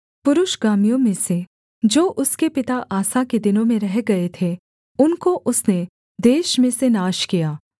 पुरुषगामियों में से जो उसके पिता आसा के दिनों में रह गए थे उनको उसने देश में से नाश किया